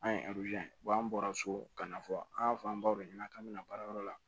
An ye an bɔra so ka na fɔ an y'a fɔ an baw de ɲɛna k'an bɛna baarayɔrɔ la